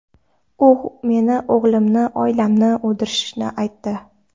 U meni, o‘g‘limni, oilamni o‘ldirishini aytdi.